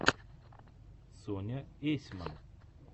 соня есьман